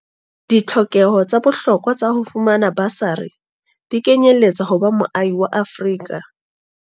Ditlhokeho tsa bohlokwa tsa ho fumana basari di kenyeletsa ho ba moahi wa Afrika.